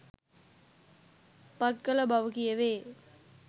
පත් කළ බව කියැවේ.